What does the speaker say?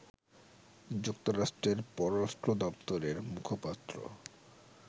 যুক্তরাষ্ট্রের পররাষ্ট্র দপ্তরের মুখপাত্র